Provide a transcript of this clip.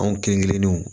Anw kelenkelenninw